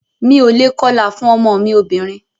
Mi o lè kọlà fún ọmọ mí obìnrin.